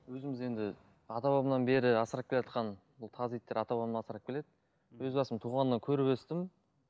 өзіміз енді ата бабамнан бері асырап келатқан бұл таз иттер ата бабамнан асырап келеді өз басым туғаннан көріп өстім